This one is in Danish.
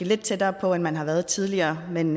lidt tættere på end man har været tidligere men